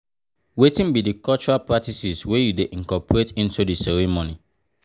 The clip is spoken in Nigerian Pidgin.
wetin be di cultural practices wey you dey incorporate into di ceremony?